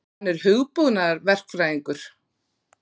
Hann er hugbúnaðarverkfræðingur.